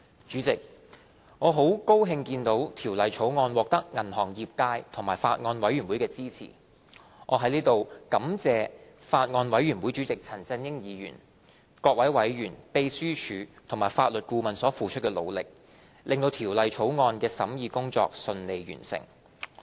主席，我很高興見到《條例草案》獲得銀行業界和法案委員會的支持，我在此感謝法案委員會主席陳振英議員、各位委員、秘書處和法律顧問所付出的努力，令《條例草案》的審議工作順利完成。